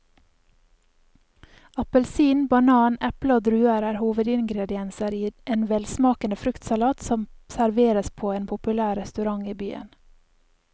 Appelsin, banan, eple og druer er hovedingredienser i en velsmakende fruktsalat som serveres på en populær restaurant i byen.